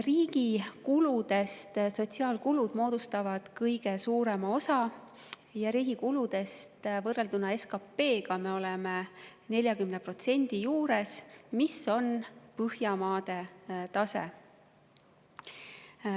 Riigi kuludest moodustavad sotsiaalkulud kõige suurema osa ja riigi kulud võrrelduna SKP‑ga on 40% juures, mis on Põhjamaade tase.